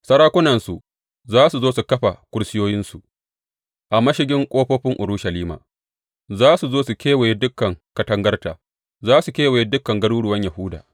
Sarakunansu za su zo su kafa kursiyoyinsu a mashigin ƙofofin Urushalima; za su zo su kewaye dukan katangarta su kewaye dukan garuruwan Yahuda.